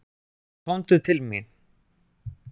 Komdu til mín.